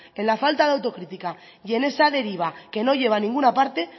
en la falta de autocritica y en esa deriva que no lleva a ninguna parte